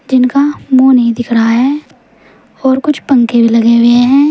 जिनका मुंह नहीं दिख रहा है और कुछ पंखे भी लगे हुए हैं।